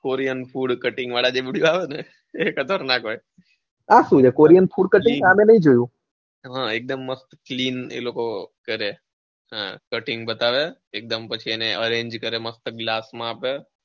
Korean food, cutting વાળા જે video આવેને એ ખતરનાક હોય એકદમ મસ્ત clean એ લોકો કરે cutting બતાવે પછી એને arrange કરે મસ્ત glass માં આપે.